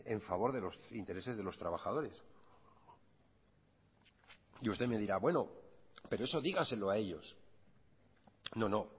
en favor de los intereses de los trabajadores y usted me dirá bueno pero eso dígaselo a ellos no no